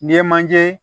N'i ye manje